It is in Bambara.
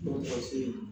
Dɔgɔtɔrɔso in na